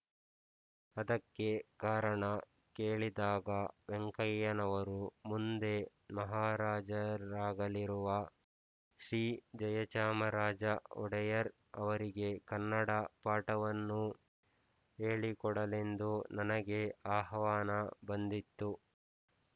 ಅದಕ್ಕೆ ಕಾರಣ ಕೇಳಿದಾಗ ವೆಂಕಯ್ಯನವರು ಮುಂದೆ ಮಹಾರಾಜರಾಗಲಿರುವ ಶ್ರೀಜಯಚಾಮರಾಜ ಒಡೆಯರ್ ಅವರಿಗೆ ಕನ್ನಡ ಪಾಠವನ್ನು ಹೇಳಿಕೊಡಲೆಂದು ನನಗೆ ಆಹ್ವಾನ ಬಂದಿತ್ತು